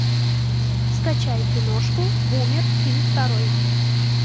скачай киношку бумер фильм второй